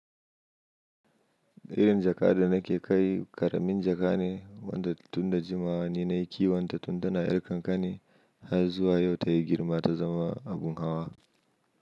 Irin jaka da nake kai ƙaramin jaka ne wanda tun da jimawa nake yi, wanda tun tana irka ƙanƙani har zuwa yau ta yi girma ta zama abun hawa.